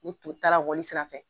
U tun taara wonni sira fɛ.